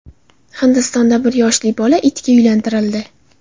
Hindistonda bir yoshli bola itga uylantirildi.